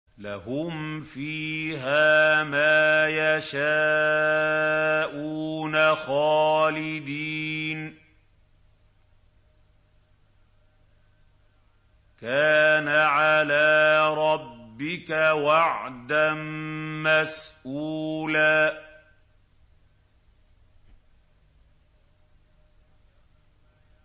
لَّهُمْ فِيهَا مَا يَشَاءُونَ خَالِدِينَ ۚ كَانَ عَلَىٰ رَبِّكَ وَعْدًا مَّسْئُولًا